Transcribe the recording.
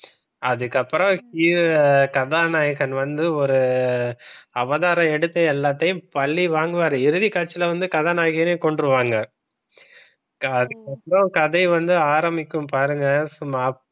அதுக்கு அப்புறம் கதாநாயகன் வந்து ஒரு அவதாரம் எடுத்து எல்லாத்தையும் பலி வாங்குவாரு இறுதி காட்சில வந்து கதாநாயகியே கொன்றுவாங்க அதுக்கப்புறம் கதை வந்து ஆரம்பிக்கும் பாருங்க சும்மா